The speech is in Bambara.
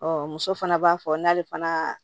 muso fana b'a fɔ n'ale fana